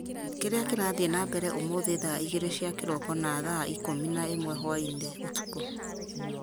kĩrĩa kĩrathiĩ na mbere ũmũthĩ thaa igĩrĩ cia kĩroko na thaa ikũmi na ĩmwe hwaĩ-inĩ ũtukũ